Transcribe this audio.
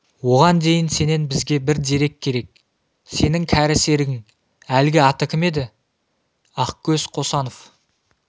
оған дейін сенен бізге бір дерек керек сенің кәрі серігің әлгі аты кім еді ақкөз қосанов